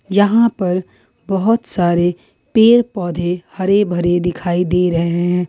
यहां पर बहुत सारे पेड़ पौधे हरे भरे दिखाई दे रहे हैं।